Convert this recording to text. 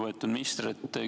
Lugupeetud minister!